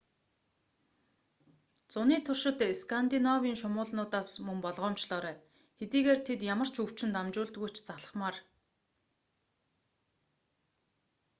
зуны туршид скандинавын шумуулнуудаас мөн болгоомжлоорой хэдийгээр тэд ямар ч өвчин дамжуулдаггүй ч залхмаар